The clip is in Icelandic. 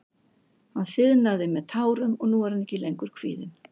Hann þiðnaði með tárum og nú er ég ekki lengur kvíðinn.